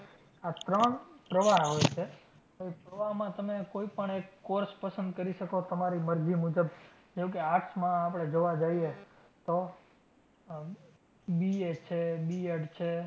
આ ત્રણ પ્રવાહ હોય છે. તો ઈ પ્રવાહમાં તમે કોઈ પણ એક course પસંદ કરી શકો તમારી મરજી મુજબ જેમકે arts માં આપડે જોવા જઈએ તો આહ BA છે B. ED છે